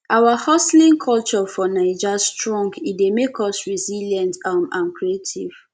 our hustling culture for naija strong e dey make us resilient um and creative